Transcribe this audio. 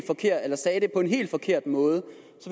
sagde det på en forkert måde